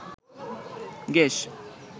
gas